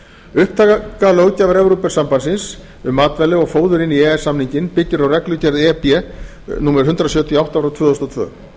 upptaka löggjafar evrópusambandsins um matvæli og fóður inn í e e s samninginn byggir á reglugerð e b númer hundrað sjötíu og átta tvö þúsund og tvö